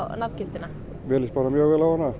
nafngiftina mér líst bara mjög vel á hana